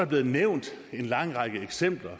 blevet nævnt en lang række eksempler